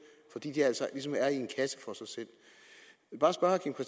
fordi de altså ligesom er i en kasse for sig selv